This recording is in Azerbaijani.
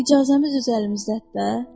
İcazəmiz öz əlimizdədir də.